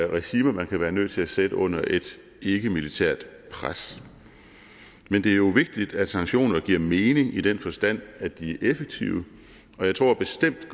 regimer man kan være nødt til at sætte under et ikke militært pres men det er jo vigtigt at sanktionerne giver mening i den forstand at de er effektive og jeg tror bestemt